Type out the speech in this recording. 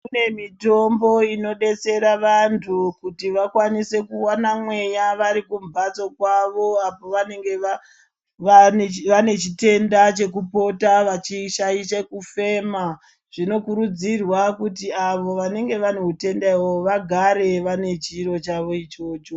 Kune mitombo inodetsera vanhu kuti vakwanise kuona mweya varikumhatso kwavo apo vanenge vanechitenda chekupota veishaishe kufema zvinokurudzirwa kuti avo vanenge vane utenda uhoho vagare vane chiro chavo ichocho.